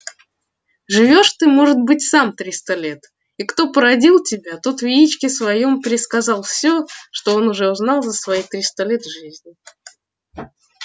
живёшь ты может быть сам триста лет и кто породил тебя тот в яичке своём пересказал все что он тоже узнал за свои триста лет жизни